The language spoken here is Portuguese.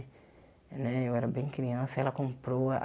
Né eu era bem criança e ela comprou a